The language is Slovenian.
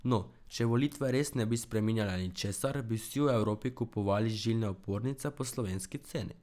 No, če volitve res ne bi spreminjale ničesar, bi vsi v Evropi kupovali žilne opornice po slovenski ceni.